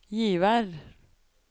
Givær